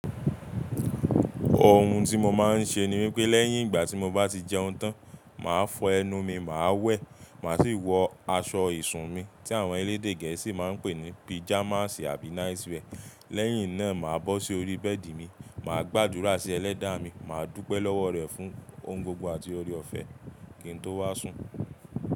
Ohun tí mo máa ń ṣe ni wípé lẹ́yìn ìgbà tí mo bá ti jẹun tán, màá fọ ẹnu mi, màá wẹ̀, màá sì wọ aṣọ ìsùn mi tí àwọn elédè gẹ̀ẹ́sì máa ń pè ní pijamasi àbí náiswẹ́ẹ̀. Lẹ́yìn náà màá bọ́ sí orí bẹ́ẹ̀dì mi, màá gbàdúrà sí ẹlẹ́dàá mi, màá dúpẹ́ lọ́wọ́ rẹ̀ fún ohun gbogbo àti oore ọ̀fẹ́, kí n tó wá sùn.